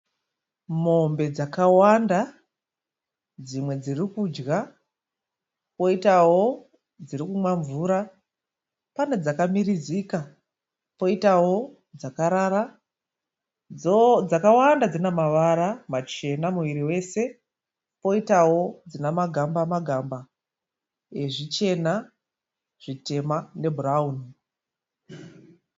Mombe dzawanda. Dzimwe dziri kudya poitawo dziri kumwa mvura. Pane dzakamirizika poitawo dzakarara. Dzakawanda dzina mavara machena muviri wose poitawo dzina magamba-magamba ezvichena, zvitema nebhurauni.